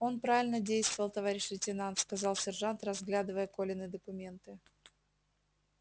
он правильно действовал товарищ лейтенант сказал сержант разглядывая колины документы